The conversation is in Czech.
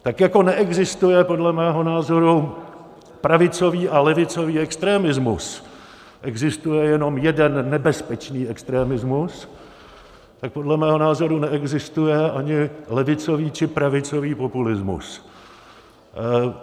Tak jako neexistuje podle mého názoru pravicový a levicový extremismus, existuje jenom jeden nebezpečný extremismus, tak podle mého názoru neexistuje ani levicový či pravicový populismus.